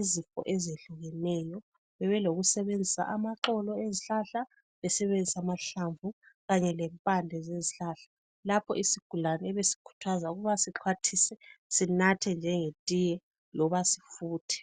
izifo ezehlukeneyo. Bebelokusebenzisa amaxolo ezihlahla, amahlamvu kanye lempande. Lapho isigulane ebesikhuthazwa ukuthi sinathe njengetiye loba sifuthe.